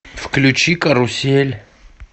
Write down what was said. включи карусель